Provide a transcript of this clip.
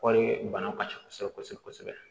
Kɔɔri bana ka ca kosɛbɛ kosɛbɛ kosɛbɛ